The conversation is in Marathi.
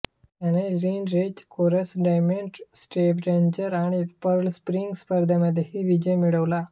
त्याने लिनरेस कोरस डॉर्टमुंड स्टॅव्हेंजर आणि पर्ल स्प्रिंग स्पर्धांमध्येही विजय मिळवला आहे